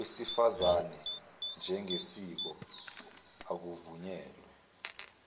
wesifazane njengesiko akuvunyelwe